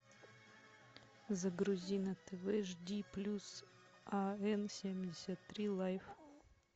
загрузи на тв жди плюс а н семьдесят три лайф